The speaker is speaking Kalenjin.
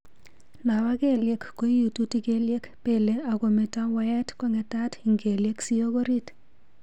Nobo kelyek ko iututi kelyek, pele ako meto waet ko ngetat ing kelyek siyok orit.